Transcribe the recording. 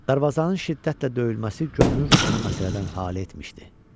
Dərvazanın şiddətlə döyülməsi görünür onu məsələdən hal etmişdi.